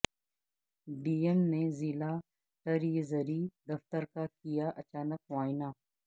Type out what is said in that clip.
D M نے ضلع treasury دفتر کا کیا اچانک معائنہ